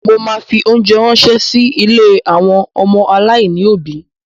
Mo ma fi óńjẹ ránṣẹ́ sí ilé àwọn ọmọ aláìní òbí.